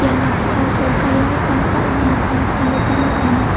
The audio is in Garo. ia noksao sorkarini kam ka·ram nokko nikna gita man·enga.